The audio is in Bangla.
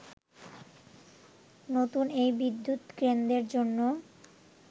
নতুন এই বিদ্যুৎকেন্দ্রের জন্য